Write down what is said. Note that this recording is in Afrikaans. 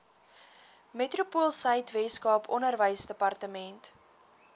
metropoolsuid weskaap onderwysdepartement